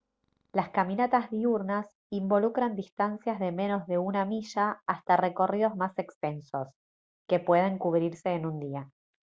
las caminatas diurnas involucran distancias de menos de una milla hasta recorridos más extensos que pueden cubrirse en un día